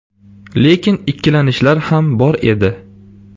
Lekin ikkilanishlar ham bor edi.